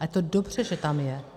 A je to dobře, že tam je.